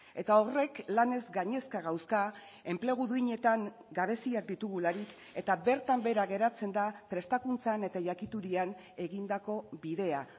eta horrek lanez gainezka gauzka enplegu duinetan gabeziak ditugularik eta bertan behera geratzen da prestakuntzan eta jakiturian egindako bidea